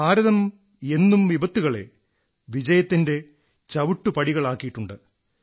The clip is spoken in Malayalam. ഭാരതം എന്നും വിപത്തുകളെ വിജയത്തിന്റെ ചവിട്ടുപടികളാക്കിയിട്ടുണ്ട്